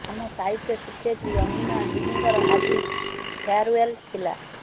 ଆମ ସାହିତ୍ୟ ଶିକ୍ଷୟତ୍ରୀ ଅନିମା ଦିଦିଙ୍କର ଆଜି ଫେୟାର୍ୱେଲ୍ ଥିଲା